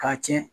K'a tiɲɛ